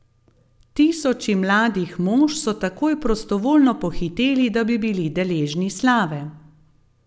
Tisoči mladih mož so takoj prostovoljno pohiteli, da bi bili deležni slave ...